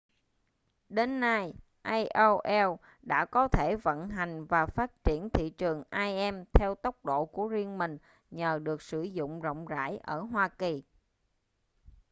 đến nay aol đã có thể vận hành và phát triển thị trường im theo tốc độ của riêng mình nhờ được sử dụng rộng rãi ở hoa kỳ